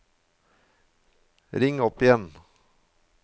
ring opp igjen